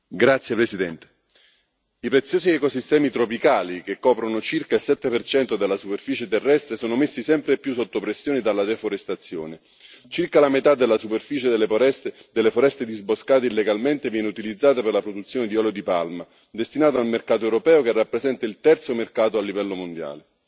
Signora Presidente, onorevoli colleghi, i preziosi ecosistemi tropicali, che coprono circa il 7 della superficie terrestre, sono messi sempre più sotto pressione dalla deforestazione. Circa la metà della superficie delle foreste disboscate illegalmente viene utilizzata per la produzione di olio di palma destinato al mercato europeo, che rappresenta il terzo mercato a livello mondiale.